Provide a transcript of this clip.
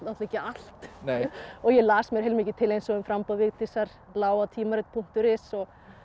ekki allt og ég las mér heilmikið til eins og um framboð Vigdísar lá á punktur is og